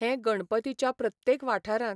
हें गणपतीच्या प्रत्येक वाठारांत